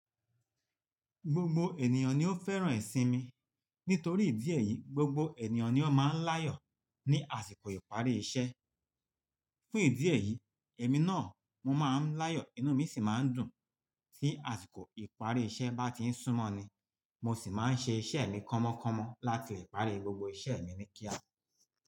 Gbogbo ènìyàn ni ó fẹ́ràn ìsinmi. Nítorí ìdí èyí, gbogbo ènìyàn ni ó máa ń láyọ̀ ní àsìkò ìparí iṣẹ́. Fún ìdí èyí, èmi náà mo máa ń láyọ̀, inú mi sì máa ń dùn tí àsìkò ìparí iṣẹ́ bá ti ń súmọ́ ni. Mọ sì máa ń ṣe iṣẹ́ mi kọ́mọ kọ́mọ láti lè parí gbogbo iṣẹ́ mi ní kíá.